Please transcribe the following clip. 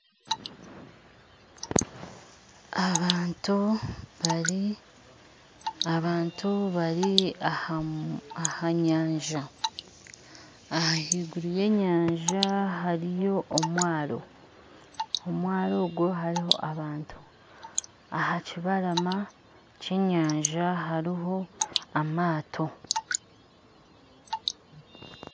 Abantu bari abantu bari ahanyanja ahiguru yenyaja hariho omwaro omwaro obwo hariho abantu ahakibarama kyenyanja hariho amaato